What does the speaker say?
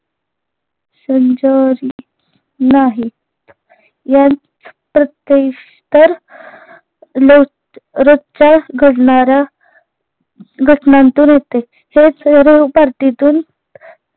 नाहीत रोजच्या घडणाऱ्या घटनांतून येते हेच revparty तून